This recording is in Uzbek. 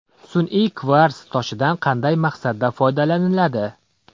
Sun’iy kvars toshidan qanday maqsadda foydalaniladi?